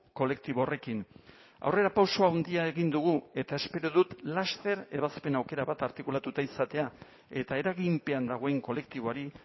kolektibo horrekin aurrerapauso handia egin dugu eta espero dut laster ebazpen aukera bat artikulatuta izatea eta eraginpean dagoen kolektiboari